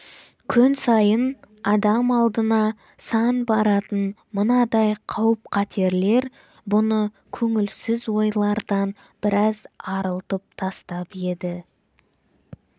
күн сайын адам алдына сан баратын мынадай қауіп-қатерлер бұны көңілсіз ойлардан біраз арылтып тастап еді